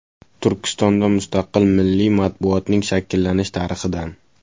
Turkistonda mustaqil milliy matbuotning shakllanish tarixidan.